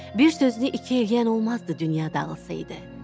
Bir sözünü iki eləyən olmazdı dünya dağılsaydı.